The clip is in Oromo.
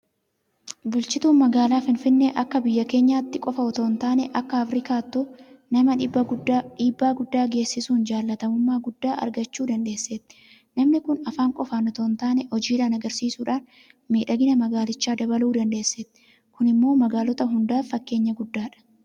Bulchituun magaalaa Finfinnee akka biyya keenyaatti qofa itoo hin taane akka Afriikaattuu nama dhiibbaa guddaa geessisuun jaalatamummaa guddaa argachuu dandeesseetti. Namni kun afaan qofaan itoo hintaane hojiidhaan agarsiisuudhaan miidhagina magaalichaa dabaluu dandeesseetti. Kun immoo magaalota hundaaf fakkeenya guddaadha.